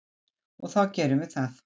Og þá gerum við það.